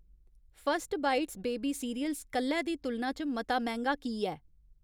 first bites baby cereals कल्लै दी तुलना च मता मैंह्गा की ऐ